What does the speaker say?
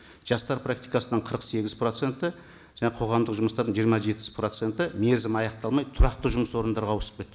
жастар практикасынан қырық сегіз проценті жаңа қоғамдық жұмыстардан жиырма жетпіс проценті мерзімі аяқталмай тұрақты жұмыс орындарға ауысып кетті